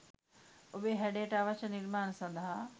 ඔබේ හැඩයට අවශ්‍ය නිර්මාණ සඳහා